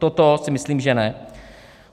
Toto si myslím, že ne.